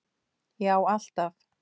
Já alltaf.